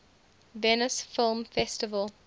venice film festival